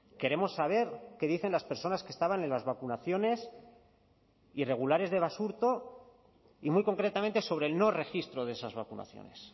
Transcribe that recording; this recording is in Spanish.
queremos saber qué dicen las personas que estaban en las vacunaciones irregulares de basurto y muy concretamente sobre el no registro de esas vacunaciones